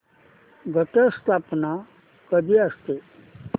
घट स्थापना कधी असते